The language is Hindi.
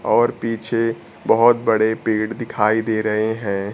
और पीछे बहुत बड़े पेड़ दिखाई दे रहे हैं।